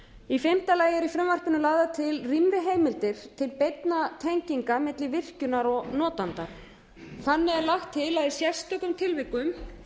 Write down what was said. í fimmta lagi eru í frumvarpinu lagðar til rýmri heimildir til beinna tenginga milli virkjunar og notanda þannig er lagt til að í sérstökum tilvikum